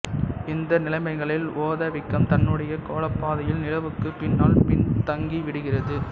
இந்த நிலைமைகளில் ஓத வீக்கம் தன்னுடைய கோளப்பாதையில் நிலவுக்குப் பின்னால் பின்தங்கிவிடுகிறது